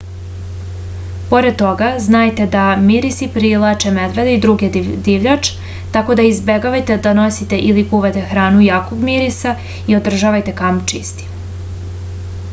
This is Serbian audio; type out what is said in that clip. pored toga znajte da mirisi privlače medvede i drugu divljač tako da izbegavajte da nosite ili kuvate hranu jakog mirisa i održavajte kamp čistim